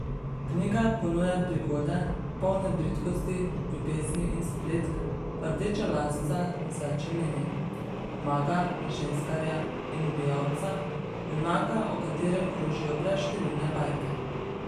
Knjiga ponuja prigode, polne bridkosti, ljubezni in spletk rdečelasca z več imeni, maga, ženskarja in ubijalca, junaka o katerem krožijo brezštevilne bajke.